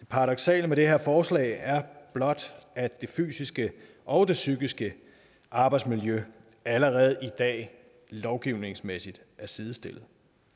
det paradoksale ved det her forslag er blot at det fysiske og det psykiske arbejdsmiljø allerede i dag lovgivningsmæssigt er sidestillet